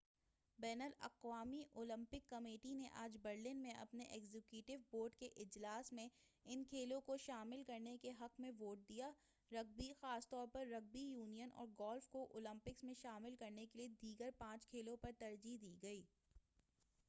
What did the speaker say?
بین الاقوامی Olympic committee نے آج برلن میں اپنے ایگزیکٹو بورڈ کے اجلاس میں ان کھیلوں کو شامل کرنے کے حق میں ووٹ دیا رگبی خاص طور پر رگبی یونین اور گولف کو اولمپکس میں شامل کرنے کیلئے دیگر پانچ کھیلوں پر ترجیح دی گئی